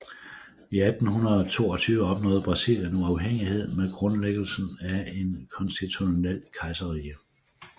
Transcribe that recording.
I 1822 opnåede Brasilien uafhængighed med grundlæggelsen af et konstitutionelt kejserrige